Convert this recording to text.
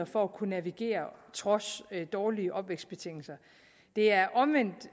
for at kunne navigere trods dårlige opvækstbetingelser det er omvendt